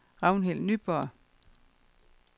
Ragnhild Nyborg